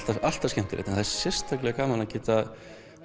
alltaf skemmtilegt en sérstaklega gaman að geta